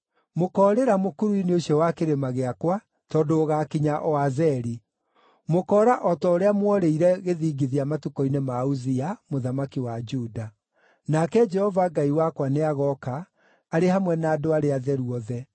Mũkoorĩra mũkuru-inĩ ũcio wa kĩrĩma gĩakwa tondũ ũgaakinya o Azeli. Mũkoora o ta ũrĩa mworĩire gĩthingithia matukũ-inĩ ma Uzia, mũthamaki wa Juda. Nake Jehova Ngai wakwa nĩagooka, arĩ hamwe na andũ arĩa atheru othe.